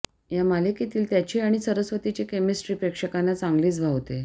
या मालिकेतील त्याची आणि सरस्वतीची केमिस्ट्री प्रेक्षकांना चांगलीच भावते